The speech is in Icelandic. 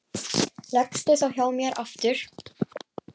Leggstu þá hjá mér aftur.